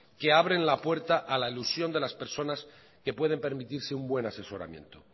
que abren la puerta a la elusión de las personas que pueden permitirse un buen asesoramiento